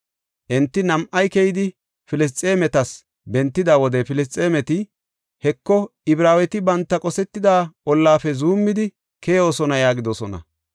Enti nam7ay keyidi Filisxeemetas bentida wode Filisxeemeti, “Heko, Ibraaweti banta qosetida ollafe zuumidi keyoosona” yaagidosona.